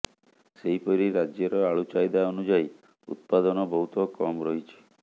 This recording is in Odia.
ସେହିପରି ରାଜ୍ୟର ଆଳୁ ଚାହିଦା ଅନୁଯାୟୀ ଉତ୍ପାଦନ ବହୁତ କମ୍ ରହିଛି